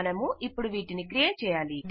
మనమిపుడు వీటిని క్రియేట్ చేయాలి